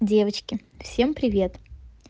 девочки всем привет